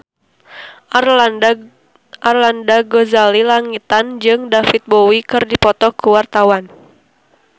Arlanda Ghazali Langitan jeung David Bowie keur dipoto ku wartawan